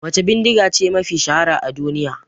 Wace bidigace mafi shahara a duniya?